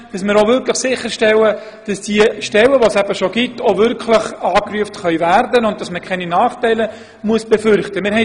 Damit wollen wir gewährleisten, dass die bereits vorhandenen Stellen auch wirklich angerufen werden können und man deswegen keine Nachteile befürchten muss.